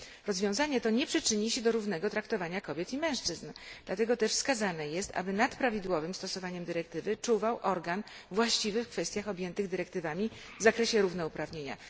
Rozwiązanie to nie przyczyni się do równego traktowania kobiet i mężczyzn, dlatego też wskazane jest, aby nad prawidłowym stosowaniem dyrektywy czuwał organ właściwy w kwestiach objętych dyrektywami w zakresie równouprawnienia.